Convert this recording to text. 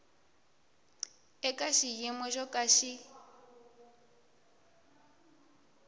eka xiyimo xo ka xi